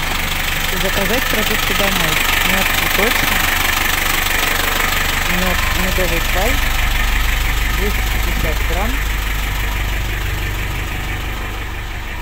заказать продукты домой мед цветочный медовый край двести пятьдесят грамм